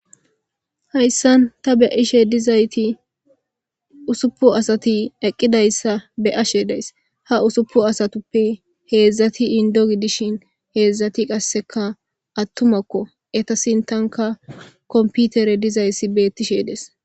Haysan ta be'ashe bizayt ussupuni asati eqidaysa be'ashe de'ays, ha ussupuni asatuppe hezdzdati Indo gidishn hezdzdati qaseka atumako , eta sintanka kompiterey dizays betishe Des.